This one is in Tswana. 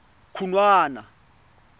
khunwana